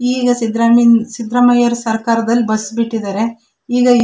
ಈಗ ಸಿದ್ರಾಮಿನ್ ಸಿದ್ರಾಮಯ್ಯರ ಸರ್ಕಾರದಲ್ಲಿ ಬಸ್ ಬಿಟ್ಟಿದರೆ. ಈಗ --